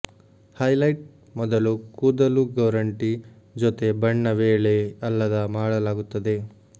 highlight ಮೊದಲು ಕೂದಲು ಗೋರಂಟಿ ಜೊತೆ ಬಣ್ಣ ವೇಳೆ ಅಲ್ಲದ ಮಾಡಲಾಗುತ್ತದೆ